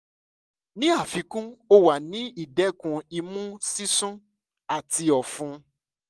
ni afikun o wa ni idẹkun imu sisun ati ọfun